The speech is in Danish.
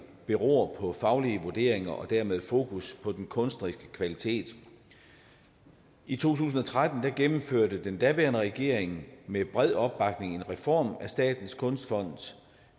beror på faglige vurderinger og derved fokus på den kunstneriske kvalitet i to tusind og tretten gennemførte den daværende regering med bred opbakning en reform af statens kunstfond